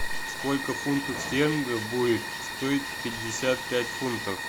сколько фунтов стерлингов будет стоить пятьдесят пять фунтов